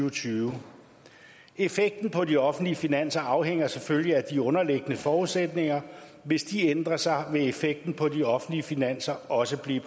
og tyve effekten på de offentlige finanser afhænger selvfølgelig af de underliggende forudsætninger hvis de ændrer sig vil effekten på de offentlige finanser også blive